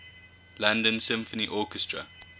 london symphony orchestra